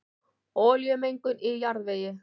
Olíumengun í jarðvegi